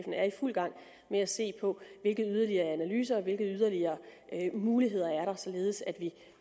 er i fuld gang med at se på hvilke yderligere analyser og hvilke yderligere muligheder der er således at vi